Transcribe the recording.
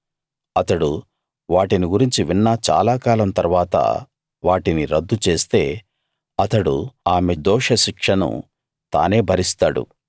అతడు వాటిని గురించి విన్న చాలా కాలం తరువాత వాటిని రద్దుచేస్తే అతడు ఆమె దోషశిక్షను తానే భరిస్తాడు